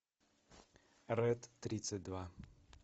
ред тридцать два